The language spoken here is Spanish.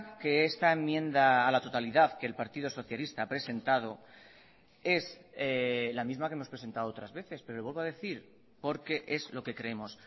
que esta enmienda a la totalidad que el partido socialista ha presentado es la misma que hemos presentado otras veces pero vuelvo a decir porque es lo que creemos